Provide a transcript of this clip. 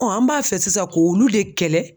an b'a fɛ sisan k'olu de kɛlɛ